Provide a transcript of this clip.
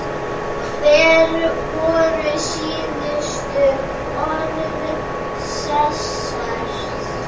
Hver voru síðustu orð Sesars?